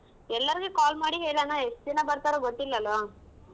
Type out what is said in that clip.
ಎಲ್ಲರ್ಗು call ಮಾಡಿ ಹೇಳನಾ ಎಷ್ಟ್ ಜನಾ ಬರ್ತಾರೊ ಗೊತ್ತಿಲ್ಲ ಅಲ್ವಾ?